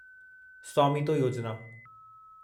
स्वामीतो योजिना